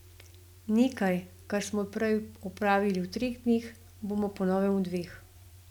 Nekaj, kar smo prej opravili v treh dneh, bomo po novem v dveh.